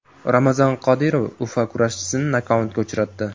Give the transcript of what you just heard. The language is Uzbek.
Ramzan Qodirov UFC kurashchisini nokautga uchratdi .